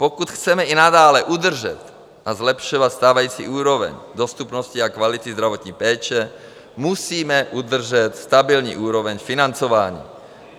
Pokud chceme i nadále udržet a zlepšovat stávající úroveň dostupnosti a kvality zdravotní péče, musíme udržet stabilní úroveň financování.